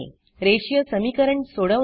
रेषीय समीकरण सोडवणे